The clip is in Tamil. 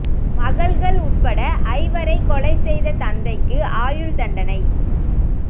மகள்கள் உட்பட ஐவரைக் கொலை செய்த தந்தைக்கு ஆயுள் தண்டனை